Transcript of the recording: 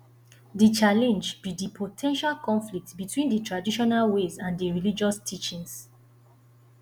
di challenge be di po ten tial conflict between di traditional ways and di religious teachings